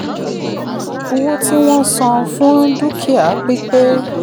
owó tí wọ́n san fún dúkìá pípé.